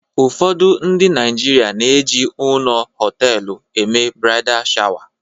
ụfọdụ ndị Naijiria na-eji ọnụ họtelu eme bradai shawa